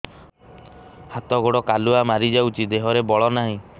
ହାତ ଗୋଡ଼ କାଲୁଆ ମାରି ଯାଉଛି ଦେହରେ ବଳ ନାହିଁ